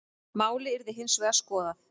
Málið yrði hins vegar skoðað.